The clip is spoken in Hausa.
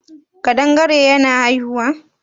kadangare yana haihuwa?